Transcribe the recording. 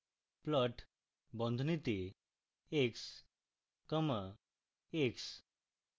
plot বন্ধনীতে x comma x